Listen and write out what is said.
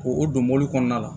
O o don mɔbili kɔnɔna la